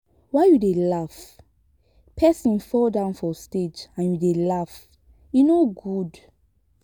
why you dey laugh? person fall down for stage and you dey laugh. e no good